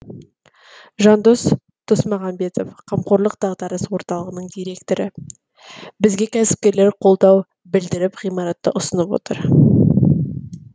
жандос тұсмағамбетов қамқорлық дағдарыс орталығының директоры бізге кәсіпкерлер қолдау білдіріп ғимаратты ұсынып отыр